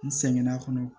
N sɛgɛnna a kɔnɔ